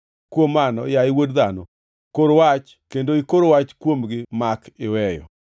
Kuom mano, yaye wuod dhano, kor wach kendo ikor wach kuomgi mak iweyo.”